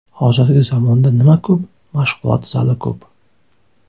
Hozirgi zamonda nima ko‘p, mashg‘ulot zali ko‘p.